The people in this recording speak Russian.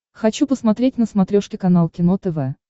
хочу посмотреть на смотрешке канал кино тв